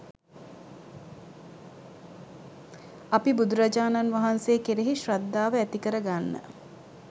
අපි බුදුරජාණන් වහන්සේ කෙරෙහි ශ්‍රද්ධාව ඇති කරගන්න